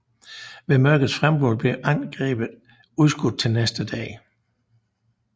Ved mørkets frembrud blev angrebet udskudt til næste dag